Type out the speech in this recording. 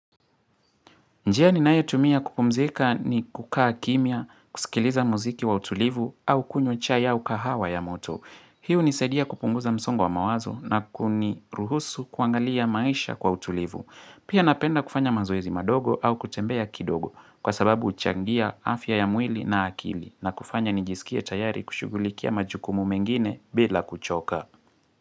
Njia ninayotumia kupumzika ni kukaa kimya, kusikiliza muziki wa utulivu au kunywa chai au kahawa ya moto. Hii hunisaidia kupunguza msongo wa mawazo na kuniruhusu kuangalia maisha kwa utulivu. Pia napenda kufanya mazoezi madogo au kutembea kidogo kwa sababu huchangia afya ya mwili na akili na kufanya nijisikie tayari kushughulikia majukumu mengine bila kuchoka.